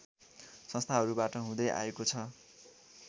संस्थाहरूबाट हुँदै आएको छ